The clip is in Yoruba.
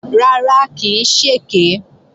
Rárá, kì í ṣèké